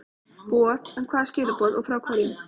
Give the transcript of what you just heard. boð, en hvaða skilaboð og frá hverjum?